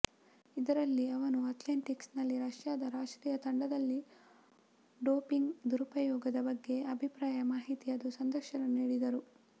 ಇದರಲ್ಲಿ ಅವರು ಅಥ್ಲೆಟಿಕ್ಸ್ನಲ್ಲಿ ರಷ್ಯಾದ ರಾಷ್ಟ್ರೀಯ ತಂಡದಲ್ಲಿ ಡೋಪಿಂಗ್ ದುರುಪಯೋಗದ ಬಗ್ಗೆ ಅಭಿಪ್ರಾಯ ಮಾಹಿತಿ ಅದು ಸಂದರ್ಶನ ನೀಡಿದರು